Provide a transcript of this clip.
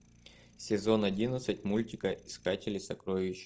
сезон одиннадцать мультика искатели сокровищ